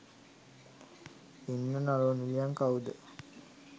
ඉන්න නළු නිළියන් කවුද